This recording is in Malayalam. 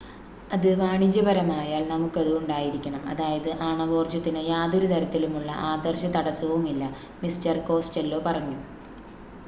അത് വാണിജ്യപരമായാൽ നമുക്കത് ഉണ്ടായിരിക്കണം അതായത് ആണവോർജ്ജത്തിന് യാതൊരുതരത്തിലുമുള്ള ആദർശ തടസ്സവുമില്ല മിസ്റ്റർ കോസ്റ്റെല്ലോ പറഞ്ഞു